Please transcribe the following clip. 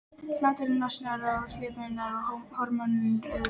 Hláturinn losar um allar hömlur og húmorinn auðveldar samskiptin.